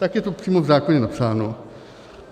Tak je to přímo v zákoně napsáno.